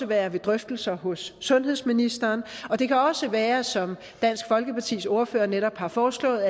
være ved drøftelser hos sundhedsministeren og det kan også være som dansk folkepartis ordfører netop har foreslået